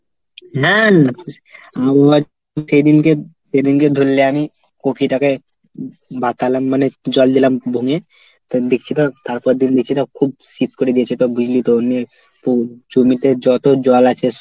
হ্যাঁ আবহাওয়া সেদিনকে সেদিনকে ধরলে আমি কপিটাকে বাঁচালাম মানে জল দিলাম বঙে। তো দেখছি তো তারপর দেখি নিচেটা খুব সীদ করে দিয়েছে তো বুঝলি তো অন্যের জমিতে যত জল আছে